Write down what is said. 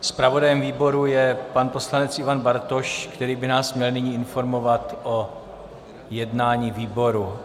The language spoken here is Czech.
Zpravodajem výboru je pan poslanec Ivan Bartoš, který by nás měl nyní informovat o jednání výboru.